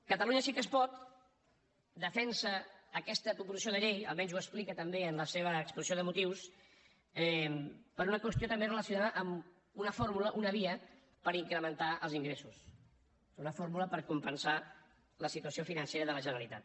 catalunya sí que es pot defensa aquesta proposició de llei almenys ho explica també en la seva exposició de motius per una qüestió relacionada amb una fórmula una via per incrementar els ingressos una fórmula per compensar la situació financera de la generalitat